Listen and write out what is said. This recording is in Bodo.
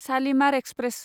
शालिमार एक्सप्रेस